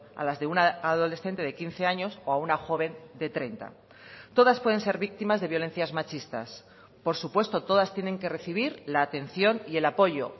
a las de una adolescente de quince años o a una joven de treinta todas pueden ser víctimas de violencias machistas por supuesto todas tienen que recibir la atención y el apoyo